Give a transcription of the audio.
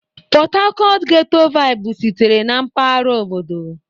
Port Harcourt ghẹ́tọ́ váịbụ sitere na mpaghara obodo.